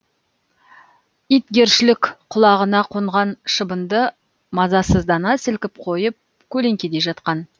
итгершілік құлағына қонған шыбынды мазасыздана сілкіп қойып көлеңкеде жатқан